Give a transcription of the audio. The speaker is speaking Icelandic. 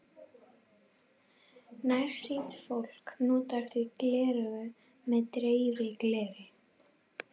Nærsýnt fólk notar því gleraugu með dreifigleri.